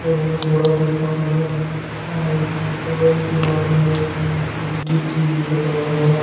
बहुत बड़ा दुकान है और दीवाल में एक एल_ई_डी टी_वी लगा हुआ है।